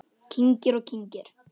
Kyngir og kyngir.